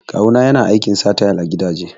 Kawu na yana aikin sa tayal a gidaje